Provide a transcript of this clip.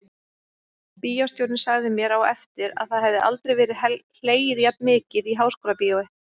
Bíóstjórinn sagði mér á eftir að það hefði aldrei verið hlegið jafn mikið í Háskólabíói.